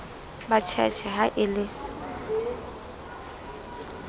ba tjhetjhe ha e le